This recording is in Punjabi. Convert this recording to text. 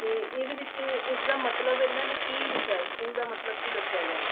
ਤੇ ਇਹਦੇ ਵਿੱਚ ਇਸਦਾ ਮਤਲਬ ਇਹਨਾਂ ਨੇ ਕੀ ਲਿਖਿਆ school ਦਾ ਮਤਲਬ ਕੀ ਦੱਸਿਆ ਗਿਆ